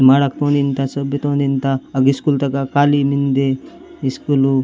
माडक पुन इनता सोबित ऑन इनता एगिस स्कूल तक के काली मिन्दे स्कूलो --